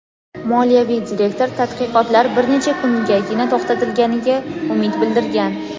Moliyaviy direktor tadqiqotlar bir necha kungagina to‘xtatilganiga umid bildirgan.